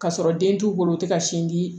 Ka sɔrɔ den t'u bolo u tɛ ka sin di